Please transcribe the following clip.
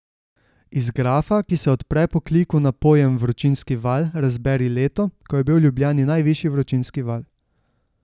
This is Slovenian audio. Iz grafa, ki se odpre po kliku na pojem vročinski val, razberi leto, ko je bil v Ljubljani najvišji vročinski val.